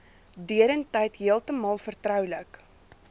deurentyd heeltemal vertroulik